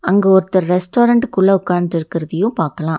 அங்க ஒருத்தர் ரெஸ்டாரன்ட் குள்ள உக்கான்ட் இருக்குறதையும் பாக்கலாம்.